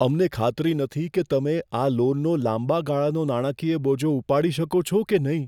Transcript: અમને ખાતરી નથી કે તમે આ લોનનો લાંબા ગાળાનો નાણાકીય બોજો ઉપાડી શકો છો કે નહીં.